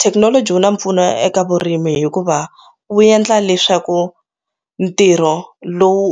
Thekinoloji wu na mpfuno ya eka vurimi hikuva wu endla leswaku ntirho lowu